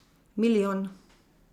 Milijon.